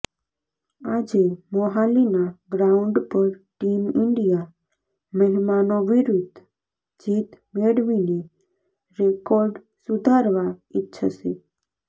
આજે મોહાલીના ગ્રાઉન્ડ પર ટીમ ઇન્ડિયા મહેમાનો વિરુદ્ઘ જીત મેળવીને રેકોર્ડ સુધારવા ઇચ્છશે